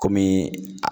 Kɔmi